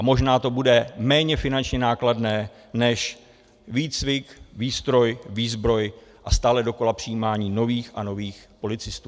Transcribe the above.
A možná to bude méně finančně nákladné než výcvik, výstroj, výzbroj a stále dokola přijímání nových a nových policistů.